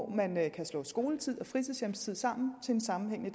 man kan slå skoletid og fritidshjemstid sammen til en sammenhængende